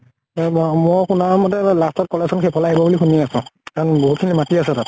মই শুনা মতে ৱে last ত college খন সেইফালে আহিব বুলি শুনি আছো। কাৰণ বহুত খিনি মাটি আছে তাত।